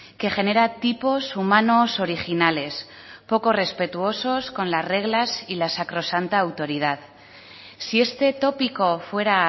que genera tipos humanos originales poco respetuosos con las reglas y la sacrosanta autoridad si este tópico fuera